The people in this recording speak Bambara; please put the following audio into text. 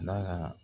N'a ka